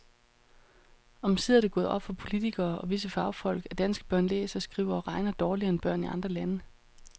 Omsider er det gået op for politikere og visse fagfolk, at danske børn læser, skriver og regner dårligere end børn i andre lande.